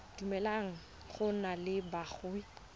dumeleleng go nna le boagi